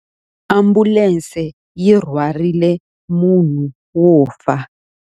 Ambulense yi rhwarile munhu wo fa.